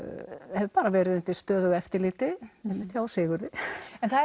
hef bara verið undir stöðugu eftirliti einmitt hjá Sigurði en það